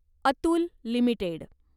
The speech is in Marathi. अतुल लिमिटेड